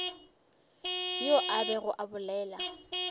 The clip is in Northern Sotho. yo a bego a bolela